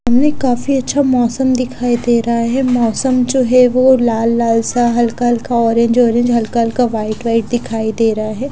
सामने काफी अच्छा मोसम दिखाई दे रहा है मोसम जो है वो लाल लाल सा हल्का हल्का ऑरेंज ऑरेंज हल्का हल्का वाइट वाइट दिखाई देरा है।